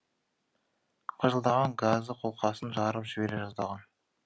қыжылдаған газы қолқасын жарып жібере жаздаған